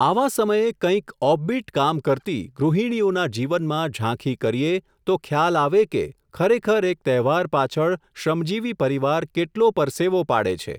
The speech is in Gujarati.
આવા સમયે કંઈક ઓફબીટ કામ કરતી, ગૃહિણીઓના જીવનમાં ઝાંખી કરીએ, તો ખ્યાલ આવે કે, ખરેખર એક તહેવાર પાછળ શ્રમજીવી પરિવાર કેટલો પરસેવો પાડે છે.